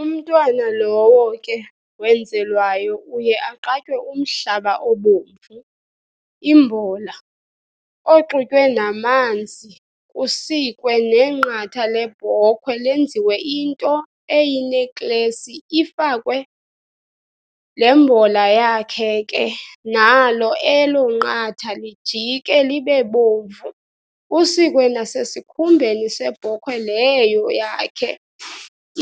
Umntwana lowo ke wenzelwayo uye aqatywe umhlaba obomvu, imbola, oxutywe namanzi kusikwe nenqatha lebhokwe lenziwe into eyineklesi ifakwe lembola yakhe ke nalo elo nqatha lijike libebomvu kusikwe nase sikhumbeni sebhokhwe leyo yakhe